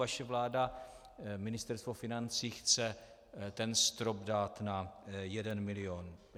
Vaše vláda, Ministerstvo financí, chce ten strop dát na jeden milion.